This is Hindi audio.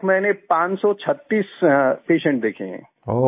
अभी तक मैंने 536 पेशेंट देखे हैं